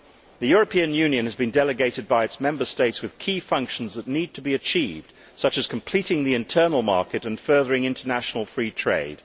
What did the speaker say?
The European Union has been delegated by its Member States with key functions that need to be achieved, such as completing the internal market and furthering international free trade.